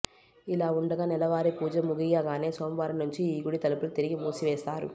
ఇలావుండగా నెలవారీ పూజ ముగియగానే సోమవారం నుంచి ఈ గుడి తలుపులు తిరిగి మూసివేస్తారు